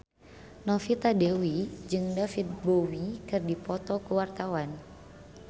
Novita Dewi jeung David Bowie keur dipoto ku wartawan